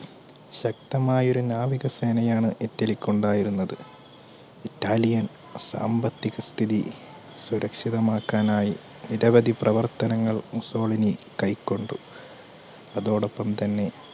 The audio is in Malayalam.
ശക്തമായൊരു നാവിക സേനയാണ് ഇറ്റലിക്കു ഉണ്ടായിരുന്നത് Italian സാമ്പത്തിക സ്ഥിതി സുരക്ഷിതമാക്കാനായി നിരവധി പ്രവർത്തനങ്ങൾ മുസോളിനി കൈകൊണ്ടു അതോടപ്പം തന്നെ